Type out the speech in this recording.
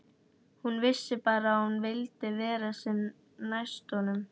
Hún vissi bara að hún vildi vera sem næst honum.